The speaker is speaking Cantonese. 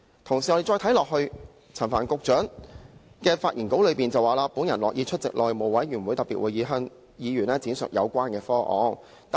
同時，陳帆局長在其發言稿中，更提到"我樂意出席內務委員會特別會議，向議員闡述有關方案"。